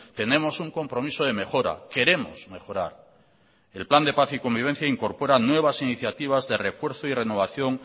tenemos un compromiso de mejora queremos mejorar el plan de paz y convivencia incorpora nuevas iniciativas de refuerzo y renovación